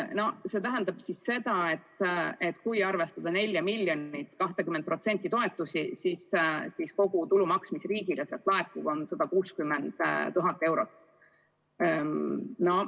See tähendab seda, et kui arvestada 4 miljonilt 20% toetusi, siis kogu tulumaks, mis riigile laekub, on 160 000 eurot.